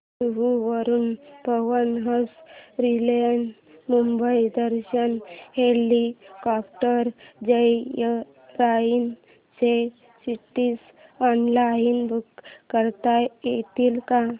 जुहू वरून Pawan Hans aerial Mumbai Darshan helicopter joyride च्या seats online book करता येतील का